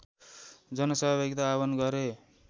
जनसहभागिता आव्हान गरे